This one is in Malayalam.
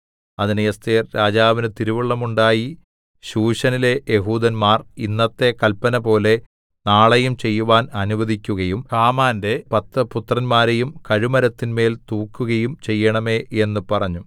അതിന് എസ്ഥേർ രാജാവിന് തിരുവുള്ളമുണ്ടായി ശൂശനിലെ യെഹൂദന്മാർ ഇന്നത്തെ കല്പനപോലെ നാളെയും ചെയ്യുവാൻ അനുവദിക്കുകയും ഹാമാന്റെ പത്ത് പുത്രന്മാരെയും കഴുമരത്തിന്മേൽ തൂക്കുകയും ചെയ്യേണമേ എന്ന് പറഞ്ഞു